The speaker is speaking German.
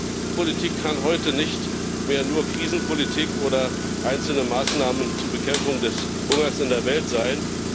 Die Entwicklungspolitik kann heute nicht mehr nur Krisenpolitik oder einzelne Maßnahmen zur Bekämpfung des Hungers in der Welt sein.